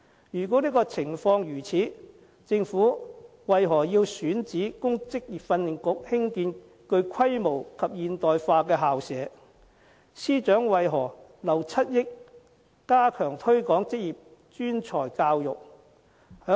如果情況是這樣的話，政府為何要選址供職訓局興建具規模及現代化校舍，司長為何留7億元加強推廣職業專才教育？